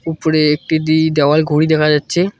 উপরে একটি দি দেওয়াল ঘড়ি দেখা যাচ্ছে।